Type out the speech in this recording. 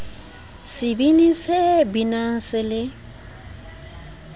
sebini se binang se le